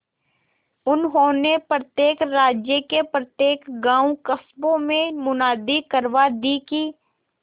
उन्होंने प्रत्येक राज्य के प्रत्येक गांवकस्बों में मुनादी करवा दी कि